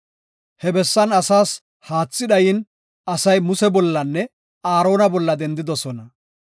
He bessan asaas haathi dhayin, asay Muse bollanne Aarona bolla dendidosona.